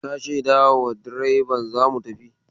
Ka shaidawa direban za mu tafi?